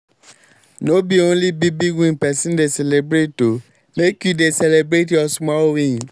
no be onle big big wins pesin dey celebrate o make you dey celebrate your small wins.